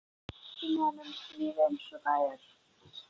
Sýna honum lífið einsog það er.